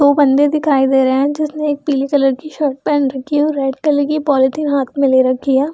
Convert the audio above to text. दो बंदे दिखाई दे रहे है जिसने एक पीले कलर की शर्ट पहन रखी है और रेड कलर की पॉलिथीन हाथ में ले रखी है।